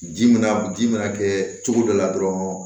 Ji mana ji mana kɛ cogo dɔ la dɔrɔn